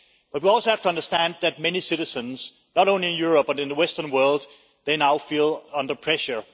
But we also have to understand that many citizens, not only in Europe but also in the western world, now feel under pressure.